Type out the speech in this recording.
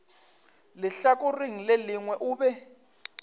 lehlakoreng le lengwe o be